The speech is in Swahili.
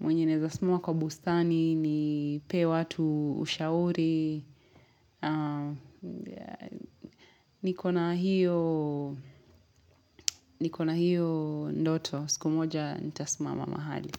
mwenye naeza simama kwa bustani nipee watu ushauri. Nikona hiyo ndoto. Siku moja nitasimama mahali.